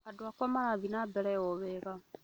Andũakwa mara thiĩ ma mbere o wega